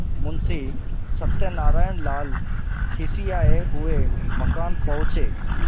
मुंशी सत्यनारायणलाल खिसियाये हुए मकान पहुँचे